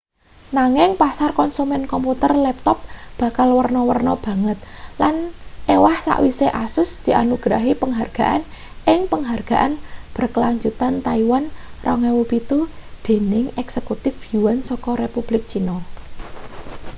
nanging pasar konsumen komputer laptop bakal werna-werna banget lan ewah sawise asus dianugrahi penghargaan ing penghargaan berkelanjutan taiwan 2007 dening eksekutif yuan saka republik cina